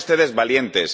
Sean ustedes valientes.